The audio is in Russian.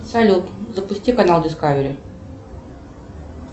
салют запусти канал дискавери